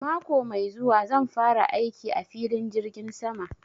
Mako mai zuwa zan fara aiki a filin jirgin sama